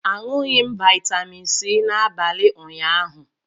Aṅụghị m vitamin C n'abalị ụnyaahụ.